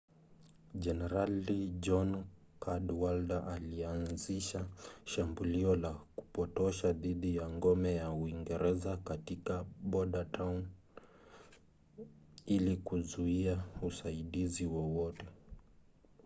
jenerali john cadwalder alianzisha shambulio la kupotosha dhidi ya ngome ya uingereza katika bordentown ili kuzuia usaidizi wowote